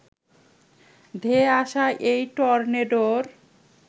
ধেয়ে আসা এই টর্নেডোর